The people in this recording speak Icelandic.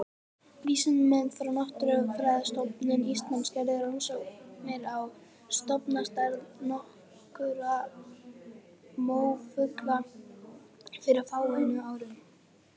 Vísindamenn frá Náttúrufræðistofnun Íslands gerðu rannsóknir á stofnstærð nokkurra mófugla fyrir fáeinum árum.